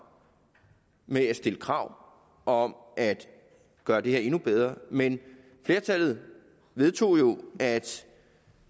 med at stille krav om at gøre det her endnu bedre men flertallet vedtog jo at